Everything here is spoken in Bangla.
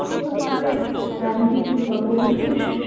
এত সুন্দরভাবে ambience বা পরিবেশ